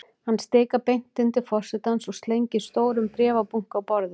Hann stikar beint inn til forsetans og slengir stórum bréfabunka á borðið.